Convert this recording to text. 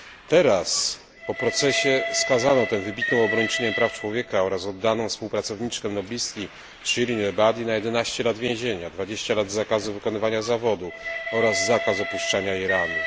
Teraz po procesie skazano tę wybitną obrończynię praw człowieka oraz oddaną współpracowniczkę noblistki Shirin Ebadi na 11 lat więzienia, 20 lat zakazu wykonywania zawodu oraz zakaz opuszczania Iranu.